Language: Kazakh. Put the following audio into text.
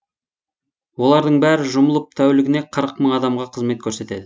олардың бәрі жұмылып тәулігіне қырық мың адамға қызмет көрсетеді